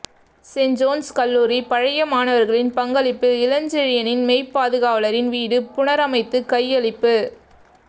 St John's கல்லூரி பழைய மாணவர்களின் பங்களிப்பில் இளஞ்செழியனின் மெய்பாதுகாவலரின் வீடு புனரமைத்து கையளிப்பு